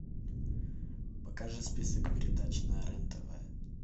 покажи список передач на рен тв